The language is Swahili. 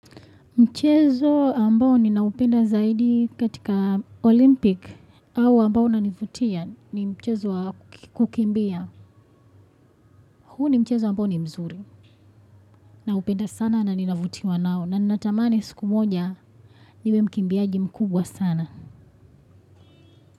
Mchezo ambao ninaupenda zaidi katika Olympic au ambao na nivutia ni mchezo wa kukimbia. Huu ni mchezo ambao ni mzuri. Naupenda sana na ninavutiwa nao na ninatamani siku moja niwe mkimbiaji mkubwa sana.